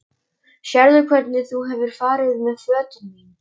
Sérðu hvernig þú hefur farið með fötin mín.!